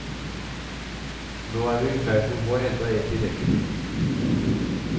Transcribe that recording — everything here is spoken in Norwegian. Nå er vi i ferd med å få enda ett i rekken.